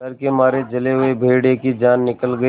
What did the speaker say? डर के मारे जले हुए भेड़िए की जान निकल गई